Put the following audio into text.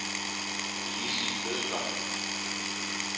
Lizzie Bødker